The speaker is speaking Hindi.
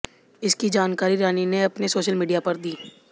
इसकी जानकारी रानी ने अपने सोशल मीडिया पर दी